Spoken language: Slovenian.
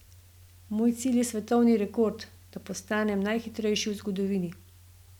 Moj cilj je svetovni rekord, da postanem najhitrejši v zgodovini.